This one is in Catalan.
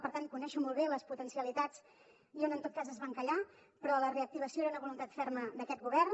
per tant conec molt bé les potencialitats i on en tot cas es va encallar però la reactivació era una voluntat ferma d’aquest govern